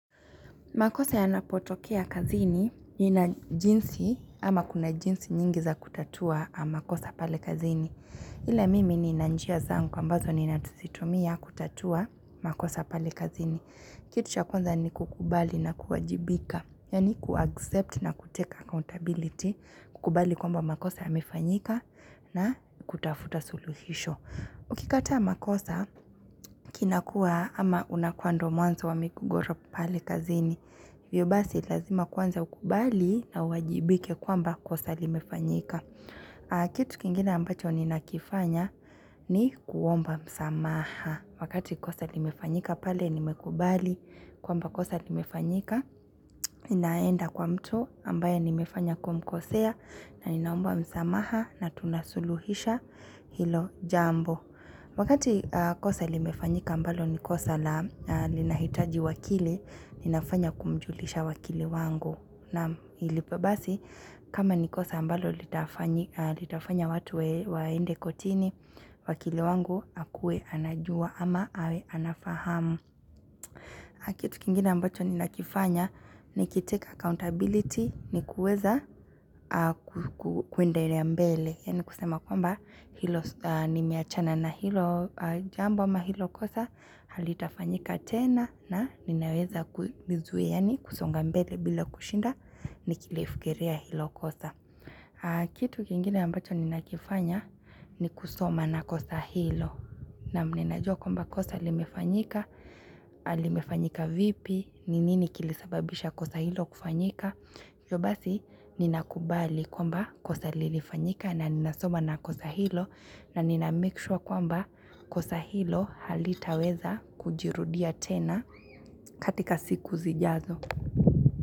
Makosa yanapotokea kazini nina jinsi ama kuna jinsi nyingi za kutatua makosa pale kazini. Ila mimi nina njia zangu ambazo ninatuzitumia kutatua makosa pale kazini. Kitu cha kwanza ni kukubali na kuajibika. Yaani kuaccept na kutake accountability, kukubali kwamba makosa ya yamefanyika na kutafuta suluhisho. Ukikataa makosa kinakuwa ama unakuwa ndio mwanzo wa migogoro pale kazini. Hivyo basi lazima kwanza ukubali na uwajibike kwamba kosa limefanyika. Kitu kingine ambacho ninakifanya ni kuomba msamaha. Wakati kosa limefanyika pale nimekubali kwamba kosa limefanyika. Inaenda kwa mtu ambaye nimefanya kumkosea na ninaomba msamaha na tunasuluhisha hilo jambo. Wakati kosa limefanyika ambalo ni kosa la na ninahitaji wakili, ninafanya kumjulisha wakili wangu. Na ilipo basi, kama ni kosa ambalo litafanyika litafanya watu waende kotini, wakili wangu akuwe anajua ama awe anafahamu. Na kitu kingine ambacho ninakifanya, nikitake accountability ni kuweza kuendelea mbele. Hii ni kusema kwamba hilo nimeachana na hilo jambo ama hilo kosa halitafanyika tena na ninaweza kuvizuia yaani kusonga mbele bila kushinda nikilifikiria hilo kosa. Kitu kingine ambacho ninakifanya ni kusoma na kosa hilo naam ninajua kwamba kosa limefanyika, limefanyika vipi, ni nini kilisababisha kosa hilo kufanyika. Hivyo basi ninakubali kwamba kosa lilifanyika na ninasoma na kosa hilo na ninamake sure kwamba kosa hilo halitaweza kujirudia tena katika siku zijazo.